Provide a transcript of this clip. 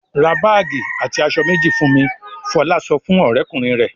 "Ra báágì àti aṣọ méjì fún mi!" Fọlá sọ fún ọ̀rẹ́kùnrin rẹ̀.